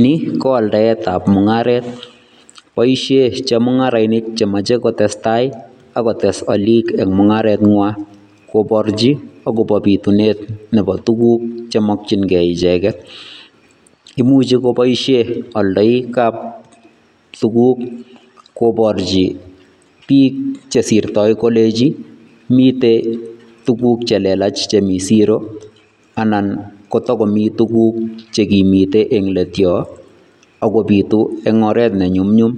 Nii ko aldaetab mung'aret, boishe Chemung'arainik chemoche kotestai ak kotes oliik en mung'arenwan koborchin akobo bitunet nebo tukuk chemokyinge icheket, imuche keboishen oldoikab sukul tukuk koborchi biik chesirtoi kolenji mitei tukuk chelelach chemi siroo anan tokomii tukuk chekimite en leet yoon AK kobitu eng' oreet ne nyumnyum ,